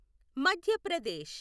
మధ్య ప్రదేశ్